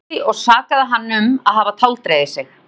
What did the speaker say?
Hún reiddist því og sakaði hann um að hafa táldregið sig.